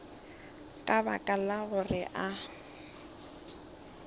ka baka la gore a